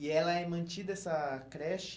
E ela é mantida, essa creche...